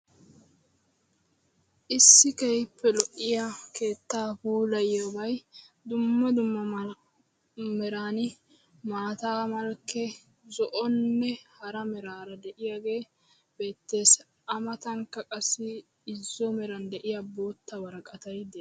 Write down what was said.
issi keehippe lo"iyaa keettaa puulayiyobay dumma dumma malkki meraani maataa malkkee zo"onne hara meraara de'iyaage beettees. a matankka qassi irzzo meran de'iyaa bootta woraqatay de'ees.